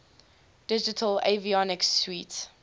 digital avionics suite